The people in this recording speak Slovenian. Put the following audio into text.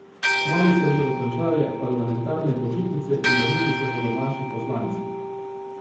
Kmalu se bodo končale parlamentarne počitnice in vrnili se bodo naši poslanci.